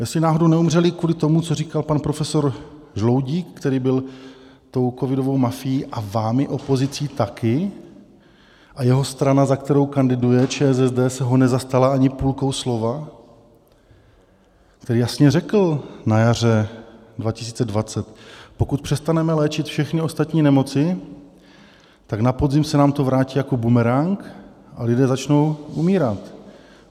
Jestli náhodou neumřeli kvůli tomu, co říkal pan profesor Žaloudík, který byl tou covidovou mafií a vámi opozicí taky, a jeho strana, za kterou kandiduje, ČSSD se ho nezastala ani půlkou slova, který jasně řekl na jaře 2020, pokud přestaneme léčit všechny ostatní nemoci, tak na podzim se nám to vrátí jako bumerang a lidé začnou umírat.